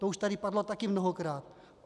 To už tady padlo taky mnohokrát.